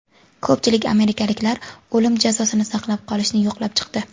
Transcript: Ko‘pchilik amerikaliklar o‘lim jazosini saqlab qolishni yoqlab chiqdi.